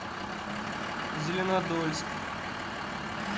зеленодольск